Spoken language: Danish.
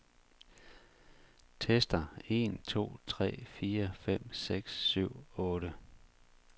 Tester en to tre fire fem seks syv otte.